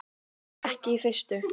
Ekki í fyrstu.